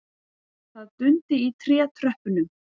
Það dundi í trétröppunum.